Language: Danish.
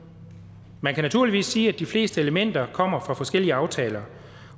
man kan naturligvis sige at de fleste elementer kommer fra forskellige aftaler